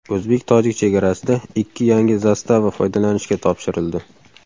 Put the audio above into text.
O‘zbek-tojik chegarasida ikki yangi zastava foydalanishga topshirildi.